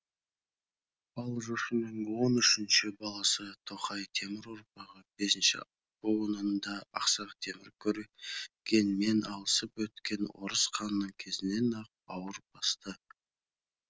ал жошының он үшінші баласы тоқай темір ұрпағы бесінші буынында ақсақ темір көрегенмен алысып өткен орыс ханның кезінен ақ бауыр басты